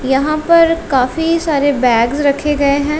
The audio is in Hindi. यहां पर काफी सारे बैग्स रखे गए हैं।